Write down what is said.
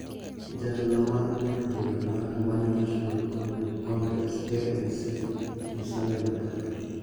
Jatelo mar duond bura mar Amani National Congress (ANC) , Musalia Mudavadi,